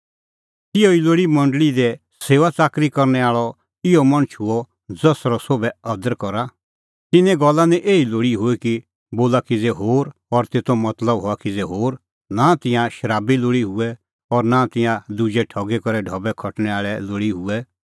तिहअ ई लोल़ी मंडल़ी दी सेऊआच़ाकरी करनै आल़अ इहअ मणछ हुअ ज़सरअ सोभै अदर करा तिन्नें गल्ला निं एही लोल़ी हुई कि बोला किज़ै होर और तेतो मतलब हआ किज़ै होर नां तिंयां शराबी लोल़ी हुऐ और नां तिंयां दुजै ठगी करै ढबै खटणै आल़ै लोल़ी हुऐ